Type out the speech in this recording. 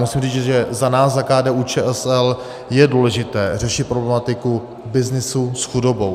Musím říct, že za nás, za KDU-ČSL, je důležité řešit problematiku byznysu s chudobou.